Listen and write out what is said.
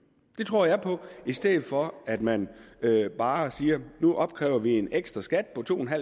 det tror jeg på i stedet for at man bare opkræver en ekstraskat på to